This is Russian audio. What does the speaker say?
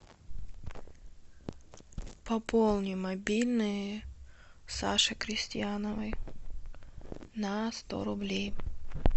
пополни мобильный саши крестьяновой на сто рублей